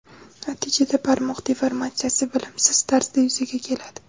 Natijada barmoq deformatsiyasi bilimsiz tarzda yuzaga keladi.